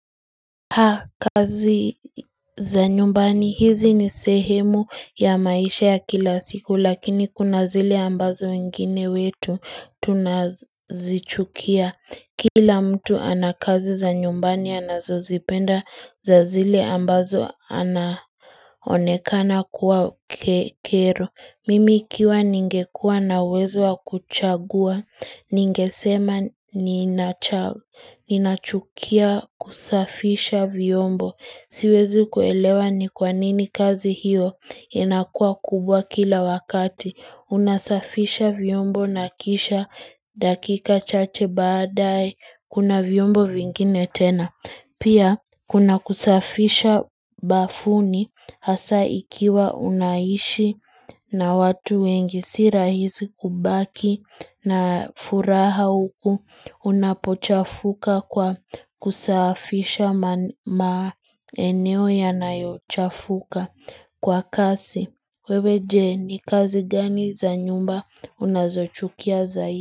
Ha kazi za nyumbani hizi ni sehemu ya maisha ya kila siku lakini kuna zile ambazo wengine wetu tunazichukia Kila mtu anakazi za nyumbani anazo zipenda za zile ambazo anaonekana kuwa kero Mimi ikiwa ningekua na uwezo wa kuchagua, ningesema ninachukia kusafisha vyombo. Siwezi kuelewa ni kwa nini kazi hiyo, inakua kubwa kila wakati. Unasafisha vyombo na kisha dakika chache baadae, kuna vyombo vingine tena. Pia kuna kusafisha bafuni hasa ikiwa unaishi na watu wengi si rahisi kubaki na furaha huku unapochafuka kwa kusafisha ma eneo yanayo chafuka kwa kazi wewe je ni kazi gani za nyumba unazochukia zaidi.